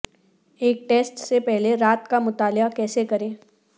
ایک ٹیسٹ سے پہلے رات کا مطالعہ کیسے کریں